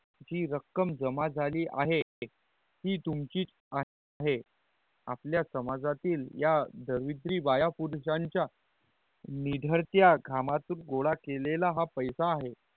जी रक्कम जमा झाली आहे ते तुमचिच आहे आपल्या समाजातील या दविदरी बाया परुषांच्या निधारत्या कामा तुन गोला केला हा पैसा आहे